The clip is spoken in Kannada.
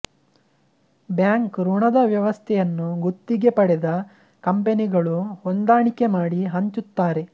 ಬ್ಯಾಂಕ್ ಋಣದ ವ್ಯವಸ್ಥೆಯನ್ನು ಗುತ್ತಿಗೆ ಪಡೆದ ಕಂಪೆನಿಗಳು ಹೊಂದಾಣಿಕೆ ಮಾಡಿ ಹಂಚುತ್ತಾರೆ